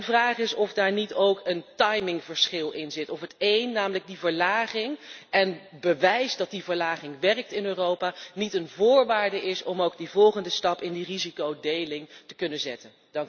Mijn vraag is of daar niet ook een timingverschil in zit, of het één, namelijk die verlaging en het bewijs dat die verlaging werkt in Europa, niet een voorwaarde is om ook die volgende stap in die risicodeling te kunnen zetten?